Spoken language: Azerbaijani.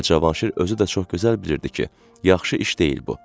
Və Cavanşir özü də çox gözəl bilirdi ki, yaxşı iş deyil bu.